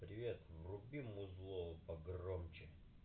привет вруби музыку погромче